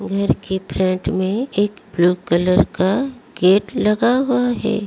घर की फ्रेंट में एक ब्लू कलर का गेट लगा हुआ है।